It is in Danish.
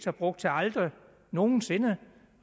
har brugt til aldrig nogen sinde